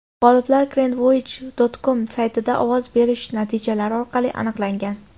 G‘oliblar Grandvoyage.com saytida ovoz berish natijalari orqali aniqlangan.